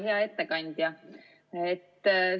Hea ettekandja!